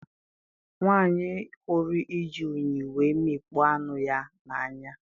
Nwanyi hụrụ iji unyi wee mikpọ anụ na-anya